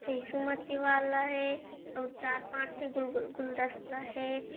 यीशु मती वाला हे अउ चार पाँच गुल-गुल गुलदस्ता हे।